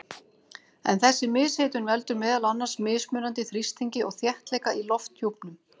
En þessi mishitun veldur meðal annars mismunandi þrýstingi og þéttleika í lofthjúpnum.